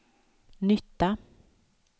nytta